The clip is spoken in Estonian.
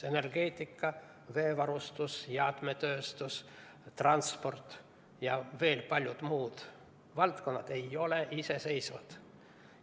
Energeetika, veevarustus, jäätmetööstus, transport ja veel paljud muud valdkonnad ei ole iseseisvad.